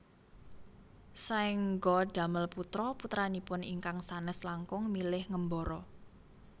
Saéngga damel putra putranipun ingkang sanes langkung milih ngembara